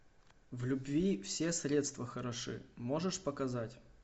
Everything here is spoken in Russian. в любви все средства хороши можешь показать